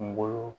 Kungolo